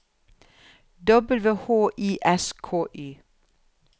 W H I S K Y